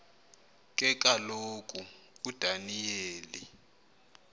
ke kaloku udaniyeli